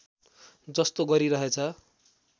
जस्तो गरिरहेछ